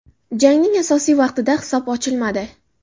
Jangning asosiy vaqtida hisob ochilmadi.